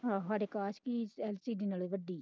ਹਾਂ ਹਾਡੇ ਅਕਾਸ਼ ਦੀ ਐੱਲ ਸੀ ਡੀ ਨਾਲੋਂ ਵੱਡੀ।